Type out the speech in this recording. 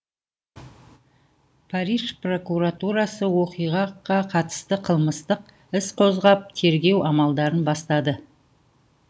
париж прокуратурасы оқиғаға қатысты қылмыстық іс қозғап тергеу амалдарын бастады